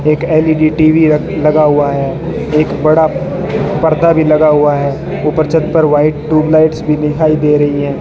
एक L E D T V लगा हुआ है एक बड़ा पर्दा भी लगा हुआ है ऊपर छत पर वाइट ट्यूब लाइट्स भी दिखाई दे रही है।